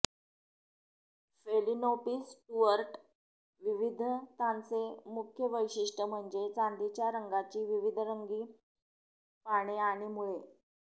phalaenopsis Stuart विविधतांचे मुख्य वैशिष्टय म्हणजे चांदीच्या रंगाची विविधरंगी पाने आणि मुळे